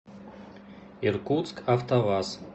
иркутск автоваз